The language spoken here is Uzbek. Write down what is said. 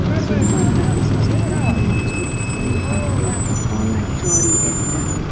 Zimbabve prezidenti qurg‘oqchilik tufayli favqulodda holat joriy etdi.